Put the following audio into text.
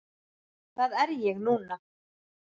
Hvað er ég núna?